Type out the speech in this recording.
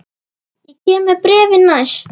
Ég kem með bréfin næst.